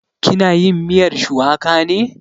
Ki na yin miyar shuwaka ne?